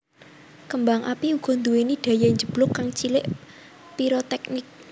Kembang api uga nduwéni daya njeblug kang cilik piroteknik